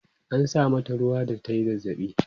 an sa mata ruwa da tayi zazzabi